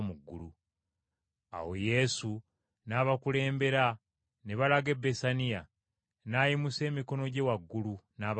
Awo Yesu n’abakulembera ne balaga e Besaniya. N’ayimusa emikono gye waggulu, n’abawa omukisa.